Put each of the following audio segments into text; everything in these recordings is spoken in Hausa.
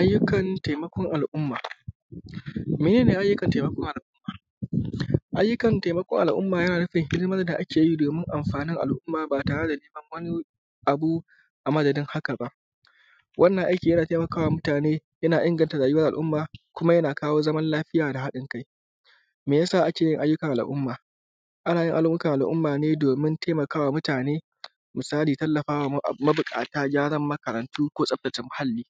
Ayyukan taimakon al’umma meye ne? Ayyukan taimakon al’umma yana nufin hidimar da ake yi domin amfanin al’umma ba tare da neman abu a madadin haka ba. Wannan aiki yana taimakawa mutane na inganta rayuwan al’umma, kuma yana kawo zaman lafiya da haɗin kai. Me ya sa ake yin ayyukan al’umma? Ana yin aiyukan al’umma ne domin taimakawa mutane. Misali: Tallafa wa mabuƙata, ko makarantu. Tsaftace muhalli,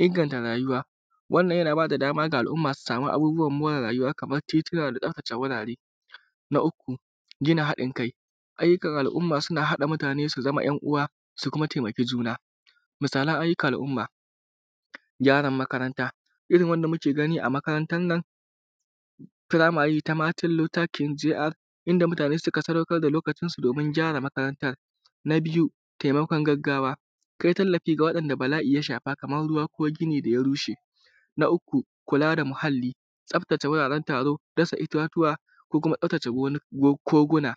inganta rayuwa. Wannan yana ba da dama wa al’umma su same abubuwan more rayuwa, kaman titi, da tsaftace wurare. Na uku, gina haɗin kai ayyukan al’umma suna haɗa mutane su zama ‘yanuwa, su kuma taimake juna. Misalan ayyukan al’umma: Gyaran makaranta irin wanda muke gani a Makarantan Firamare ta Matan Lukantare, inda mutane suka sadaukar da lokacinsu domin gyara makarantar. Taimakon gaggawa kai tallafi ga wa yanda bala’i ya shafa, kaman ruwa, ko gini da ya rushe. Kula da muhalli tsaftace wuraren taro, dasa itatuwa, ko kuma tsaftace koguna.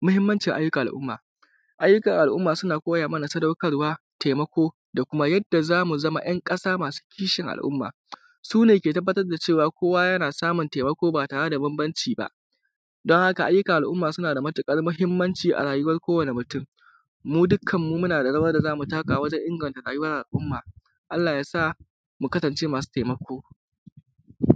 Mahimmancin ayyukan al’umma: Ayyukan al’umma suna koya mana sadaukarwa, taimako, da kuma yadda za mu zamo ‘yan ƙasa masu kishin al’umma. Su ne ke tabbatar da kowa yana samun tutaimako ba tare da banbanci ba don haka, ayyukan al’umma suna da matuƙar mahimmanci a rayuwan kowane mutum. Mu dukkanmu muna da rawar da za mu taka domin inganta rayuwan al’umma. Allah ya sa mu kasnce masu taimako.